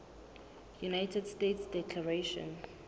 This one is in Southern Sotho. united states declaration